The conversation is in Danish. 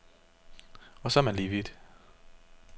Og så er man lige vidt.